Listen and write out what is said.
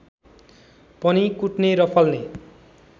पनि कुट्ने र फल्ने